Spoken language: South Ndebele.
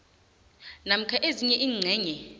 namkha ezinye iingcenye